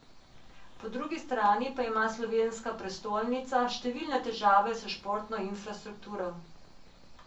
Po drugi strani pa ima slovenska prestolnica številne težave s športno infrastrukturo.